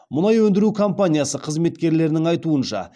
мұнай өндіру компаниясы қызметкерлерінің айтуынша